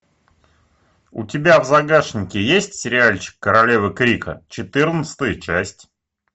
у тебя в загашнике есть сериальчик королевы крика четырнадцатая часть